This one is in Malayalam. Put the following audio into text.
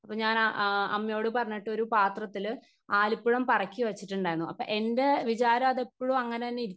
സ്പീക്കർ 1 അപ്പൊ ഞാനാ ആ അമ്മയോട് പറഞ്ഞിട്ടൊരു പാത്രത്തില് ആലിപ്പഴം പറക്കിവെച്ചിട്ടുണ്ടാരുന്നു അപ്പൊ എൻ്റെ വിചാരോ അത് എപ്പഴും അങ്ങനെതന്നെ ഇരിക്കും.